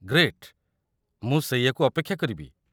Great, ମୁଁ ସେଇଆକୁ ଅପେକ୍ଷା କରିବି।